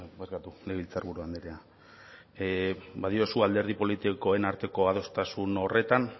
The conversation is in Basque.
barkatu legebiltzar buru andrea badiozu alderdi politikoen arteko adostasun horretan